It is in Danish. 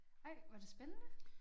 Ej var det spændende?